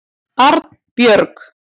Arnbjörg